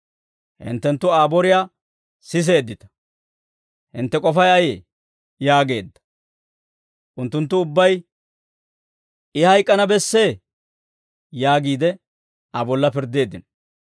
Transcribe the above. Hinttenttu Aa boriyaa siseeddita; hintte k'ofay ayee?» yaageedda; unttunttu ubbay, «I hayk'k'ana bessee» yaagiide Aa bolla pirddeeddino.